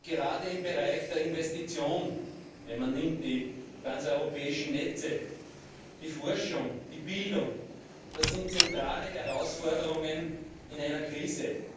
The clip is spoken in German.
Gerade im Bereich der Investition, wenn man die transeuropäischen Netze nennt, die Forschung, die Bildung das sind zentrale Herausforderungen in einer Krise.